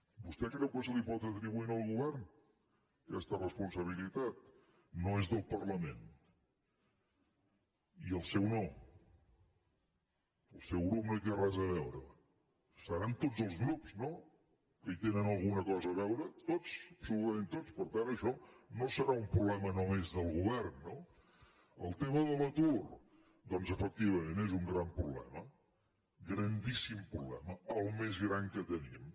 vostè creu que se li pot atribuir al govern aquesta responsabilitat no és del parlament i el seu no el seu grup no hi té res a veure deuen ser tots els grups no que hi tenen alguna cosa a veure tots absolutament tots per tant això no deu ser un problema només del govern no el tema de l’atur doncs efectivament és un gran problema grandíssim problema el més gran que tenim